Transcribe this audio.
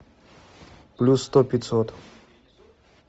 плюс сто пятьсот